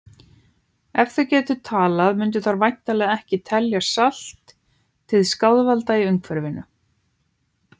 Ef þær gætu talað mundu þær væntanlega ekki telja salt til skaðvalda í umhverfinu!